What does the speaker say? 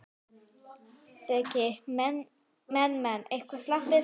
Breki: Menn, menn eitthvað slappir?